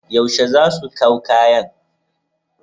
Yaushe za su kaw kayan?